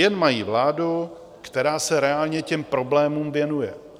Jen mají vládu, která se reálně těm problémům věnuje.